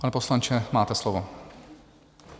Pane poslanče, máte slovo.